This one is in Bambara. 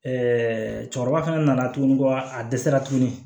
cɛkɔrɔba fana nana tuguni ko a dɛsɛra tuguni